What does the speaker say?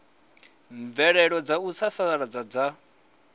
mvelelo dza u sasaladza dza